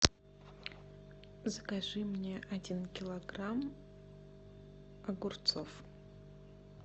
закажи мне один килограмм огурцов